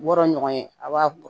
Wɔɔrɔ ɲɔgɔn ye a b'a bɔ